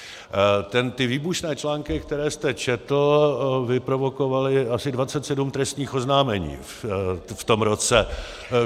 Ty výbušné články, které jste četl, vyprovokovaly asi 27 trestních oznámení v tom roce.